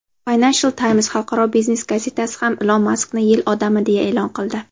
"Financial Times" xalqaro biznes gazetasi ham Ilon Maskni "Yil odami" deya e’lon qildi.